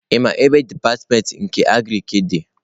Ị maa ebe dipatịmentị nke Agriki dị?